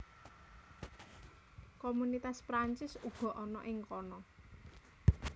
Komunitas Perancis uga ana ing kana